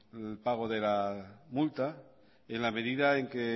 el pago de la multa en la medida en que